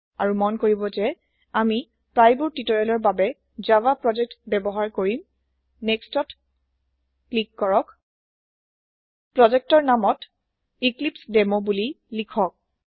আৰু মন কৰিব যে আমি প্ৰায়েবোৰ টিউটৰিয়েলৰ বাবে জাভা প্ৰজেক্ট ব্যৱহাৰ কৰিম Nextত ক্লিক কৰক প্ৰজেক্টৰ নামত এক্লিপছেডেমো বুলি লিখক